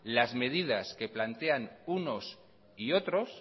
las medidas que plantean unos y otros